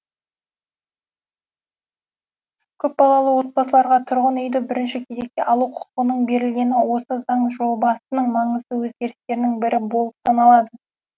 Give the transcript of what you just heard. көпбалалы отбасыларға тұрғын үйді бірінші кезекте алу құқығының берілгені осы заң жобасының маңызды өзгерістерінің бірі болып саналады